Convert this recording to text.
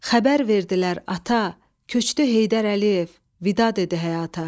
Xəbər verdilər ata, köçdü Heydər Əliyev, vida dedi həyata.